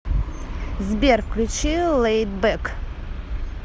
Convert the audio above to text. сбер включи лэйд бэк